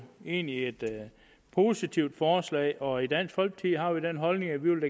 egentlig et positivt forslag og i dansk folkeparti har vi den holdning at vi